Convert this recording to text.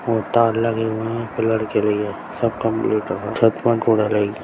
वहाँ तैयार लगे हुए हैं पिलर के लिए सब कम्प्लीट है छत्त में